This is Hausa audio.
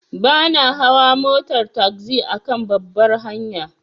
Bana hawa motar tagzi akan babbar hanya.